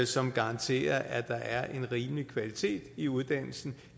som garanterer at der er en rimelig kvalitet i uddannelsen